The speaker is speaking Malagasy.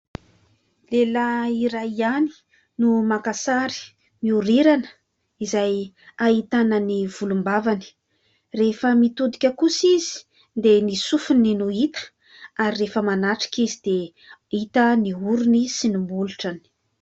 Lehilahy iray ihany no maka sary mihorirana izay ahitana ny volom-bavany, rehefa mitodika kosa izy dia ny sofiny no hita ary rehefa manatrika izy dia hita ny orony sy ny molotrany.